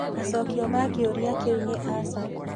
Macokio ma kĩũria kĩu nĩ aca.